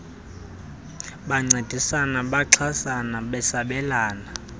bencedisana bexhasana besabelana